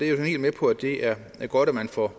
er helt med på at det er godt at man får